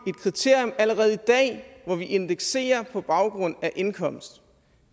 et kriterium allerede i dag hvor vi indekserer på baggrund af indkomst